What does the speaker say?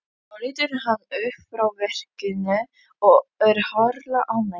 Svo lítur hann upp frá verkinu og er harla ánægður.